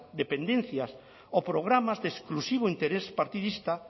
dependencias o programas de exclusivo interés partidista